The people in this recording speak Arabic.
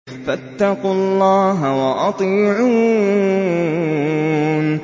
فَاتَّقُوا اللَّهَ وَأَطِيعُونِ